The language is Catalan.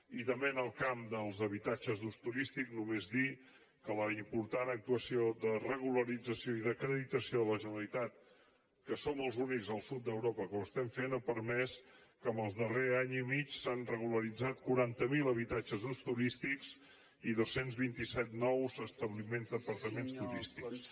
i també en el camp dels habitatges d’ús turístic només dir que la important actuació de regularització i d’acreditació de la generalitat que som els únics al sud d’europa que ho estem fent ha permès que en el darrer any i mig s’hagin regularitzat quaranta miler habitatges d’ús turístic i dos cents i vint set nous establiments d’apartaments turístics